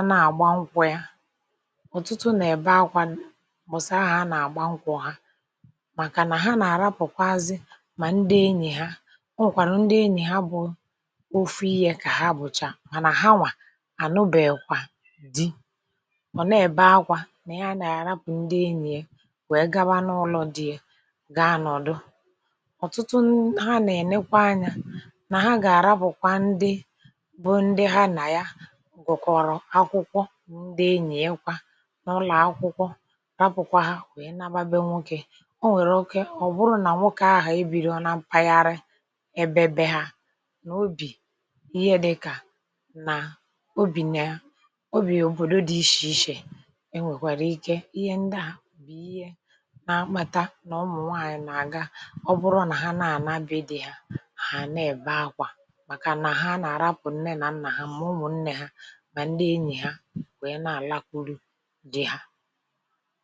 anà-àgbankwụ ya ọ̀tụtụ nà-èbe akwȧ mbọ̀sì ahù anà-àgba nkwụ ha màkà nà ha nà-àrapụ̀kwa azị mà ndị enyì ha o nwèkwàrà ndị enyì ha bụ̀ ofu ihe kà ha bụcha mànà hanwà ànụbèkwà di ọ̀ nà-èbe akwȧ nà ya nà-àrapụ̀ ndị enyìe wèe gaba n’ụlọ̀ di ye gȧa nọ̀dụ ọ̀tụtụ n ha nà-ènekwa anyȧ nà ha gà-àrapụ̀kwa ndị bụ ndị ha nà ya gụkọ̀ọrọ̀ akwụkwọ ndị enyìekwa n’ụlọ̀ akwụkwọ raapụkwa ha wee nnaba be nwoke o nwèrè oke ọ bụrụ nà nwoke a ha ebiri na mpaghara ebe be ha nà obì ihe dịkà nà obì na obì òbòdo dị ishè ishè enwèkwàrà ike ihe ndịa bụ̀ ihe na-akpata nà ọmụ̀nwaànyị̀ nà-àga ọ bụrụ nà ha na-àna be di ha hà na-èbe akwà màkà nà ha nà-arapụ nne nà nnà ha mà ụmụ̀ nne ha mà ndị enyì ha wèe na-àlakwuru di hȧ